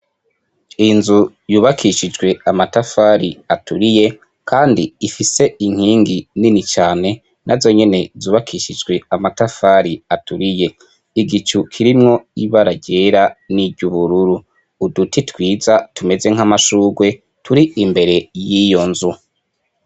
Inzu yubakishijwe amatafari aturiye, kandi ifise inkingi nini cane na zo nyene zubakishijwe amatafari aturiye igicu kirimwo ibararyera n'iryo ubururu uduti twiza tumeze nk'amashurwe turi imbere y'iyo nzu.